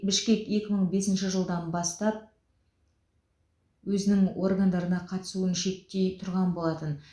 бішкек екі мың бесінші жылдан бастап өзінің органдарына қатысуын шектей тұрған болатын